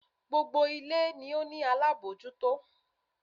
Gbogbo ilé ló ní alábòójútó.